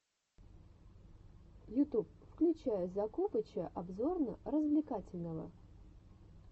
ютуб включай закупыча обзорно развлекательного